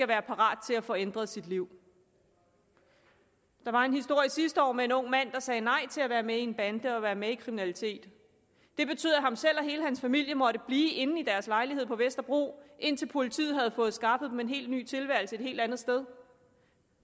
være parat til at få ændret sit liv der var en historie sidste år om en ung mand der sagde nej til at være med i en bande og være med i kriminalitet det betød at han selv og hele hans familie måtte blive inde i deres lejlighed på vesterbro indtil politiet havde fået skaffet dem en helt ny tilværelse et helt andet sted